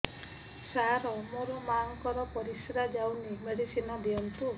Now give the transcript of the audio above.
ସାର ମୋର ମାଆଙ୍କର ପରିସ୍ରା ଯାଉନି ମେଡିସିନ ଦିଅନ୍ତୁ